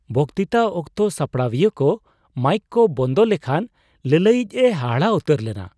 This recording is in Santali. ᱵᱚᱠᱛᱤᱛᱟ ᱚᱠᱛᱚ ᱥᱟᱯᱲᱟᱣᱤᱭᱟᱹᱠᱚ ᱢᱟᱭᱤᱠ ᱠᱚ ᱵᱚᱱᱫᱚ ᱞᱮᱠᱷᱟᱱ ᱞᱟᱹᱞᱟᱹᱭᱤᱡ ᱮ ᱦᱟᱦᱟᱲᱟᱜ ᱩᱛᱟᱹᱨ ᱞᱮᱱᱟ ᱾